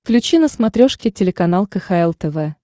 включи на смотрешке телеканал кхл тв